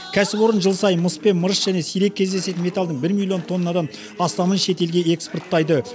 кәсіпорын жыл сайын мыс пен мырыш және сирек кездесетін металдың бір миллион тоннадан астамын шет елге экспорттайды